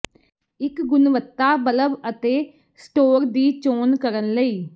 ਇੱਕ ਗੁਣਵੱਤਾ ਬਲਬ ਅਤੇ ਸਟੋਰ ਦੀ ਚੋਣ ਕਰਨ ਲਈ